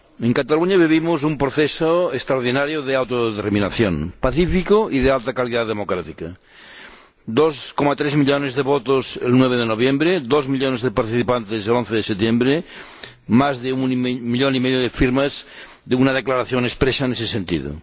En Cataluña vivimos un proceso extraordinario de autodeterminación, pacífico y de alta calidad democrática 2,3 millones de votos el 9 de noviembre, dos millones de participantes el 11 de septiembre, más de un millón y medio de firmas de una declaración expresa en ese sentido.